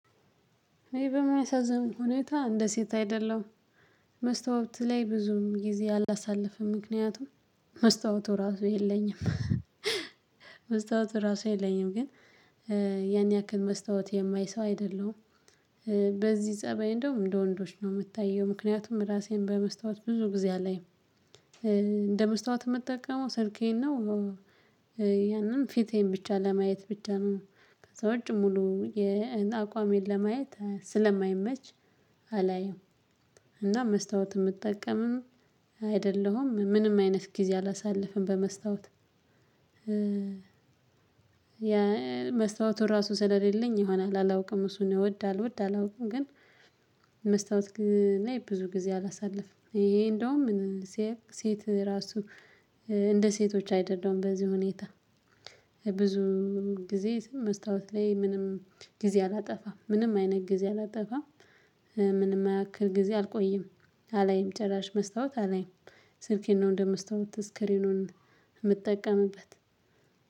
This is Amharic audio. እኔ በሚያሳዝን ሁኔታ እንደ ሴት አይደለሁም። መስታወት ላይ ብዙም ጊዜ አላሳለፈም ምክንያቱም መስታወቱ ራሱ የለኝም። መስታወቱ ራሱ የለኝም ግን ያን ያክል መስታወት የማይ ሰው አይደለሁም። በዚህ ፀባይ እንደውም እንደ ወንዶች ነው የምታየው ምክንያቱም ራሴን በመስታወት ብዙ ጊዜ አላይም። እንደ መስታወት የምጠቀመው ስልኬን ነው። ፊቴን ብቻ ለማየት ብቻ ነው ከዛ ውጪ ሙሉ የአቋሜን ለማየት ስለማይመች አላየሁም። እና መስታወት የምጠቀምም አይደለሁም ምንም አይነት ጊዜ አላሳልፍም በመስታወት። መስታወቱ ራሱ ስለሌለኝ ይሆናል አላውቅም እሱን ይወዳል ይወድ አላውቅም። ግን መስታወት ግን ብዙ ጊዜ አላሳለፍም ይሄ እንደውም ሴት ሴት ራሱ። እንደ ሴቶች አይደለሁም በዚህ ሁኔታ። ብዙ ጊዜ መስታወት ላይ ምንም ጊዜ አላጠፋም ምንም አይነት ጊዜ አላጠፋም። ምንም አያክል ጊዜ አልቆይም። አላይም ጭራሽ መስታወት አላይም። ስልኬን ነው እንደ እንደመስታወት ስክሪኑን የምጠቀምበት።